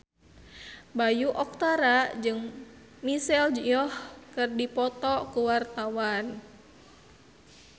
Bayu Octara jeung Michelle Yeoh keur dipoto ku wartawan